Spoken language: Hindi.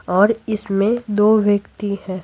और इसमें दो व्यक्ति हैं।